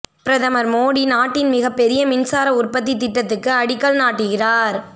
பிரதமர் மோடி நாட்டின் மிகப்பெரிய மின்சார உற்பத்தி திட்டத்துக்கு அடிக்கல் நாட்டுகிறார்